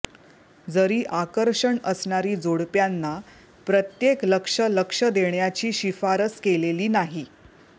जरी आकर्षण असणारी जोडप्यांना प्रत्येक लक्ष लक्ष देण्याची शिफारस केलेली नाही